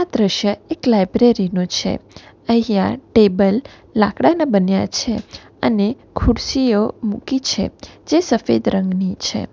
આ દ્રશ્ય એક લાઇબ્રેરી નું છે અહીંયા ટેબલ લાકડાના બન્યા છે અને ખુરશીઓ મૂકી છે જે સફેદ રંગની છે.